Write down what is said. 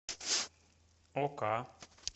ока